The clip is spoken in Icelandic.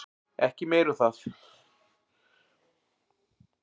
Ekki meir um það.